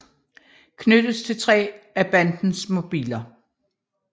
Knyttes til tre af bandens mobiler